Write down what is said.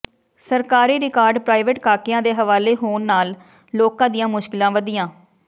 ਸਰਕਾਰੀ record private ਕਾਕਿਆਂ ਦੇ ਹਵਾਲੇ ਹੋਣ ਨਾਲ ਲੋਕਾਂ ਦੀਆਂ ਮੁਸ਼ਕਿਲ਼ਾਂ ਵਧੀਆਂ